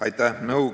Aitäh!